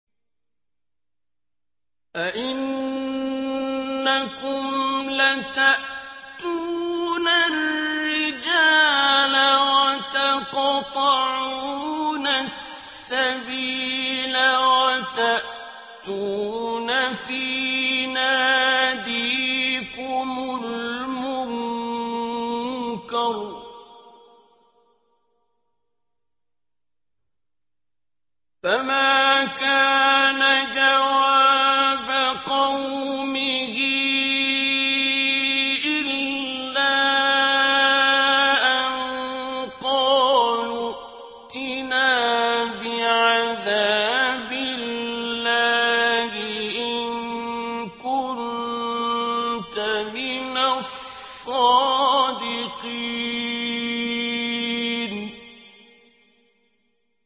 أَئِنَّكُمْ لَتَأْتُونَ الرِّجَالَ وَتَقْطَعُونَ السَّبِيلَ وَتَأْتُونَ فِي نَادِيكُمُ الْمُنكَرَ ۖ فَمَا كَانَ جَوَابَ قَوْمِهِ إِلَّا أَن قَالُوا ائْتِنَا بِعَذَابِ اللَّهِ إِن كُنتَ مِنَ الصَّادِقِينَ